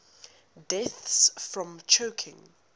deaths from choking